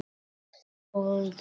SKÚLI: Gaman!